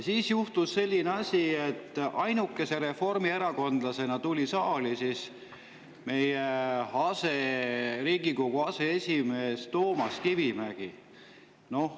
Siis juhtus selline asi, et ainukese reformierakondlasena tuli saali Riigikogu aseesimees Toomas Kivimägi.